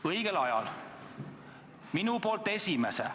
Õigel ajal ja enda poolt esimese.